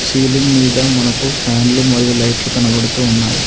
Ceiling మీద మనకు ఫ్యాన్లు మరియు లైట్లు కనబడుతున్నాయి.